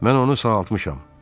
Mən onu sağaltmışam.